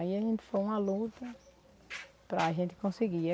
Aí a gente foi uma luta para a gente conseguir.